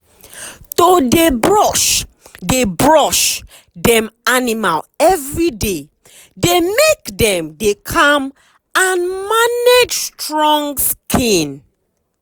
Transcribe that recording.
to dey brush dey brush dem animal everyday dey make dem dey calm and manage strong skin.